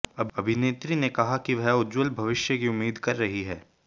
अभिनेत्री ने कहा कि वह उज्जवल भविष्य की उम्मीद कर रही हैं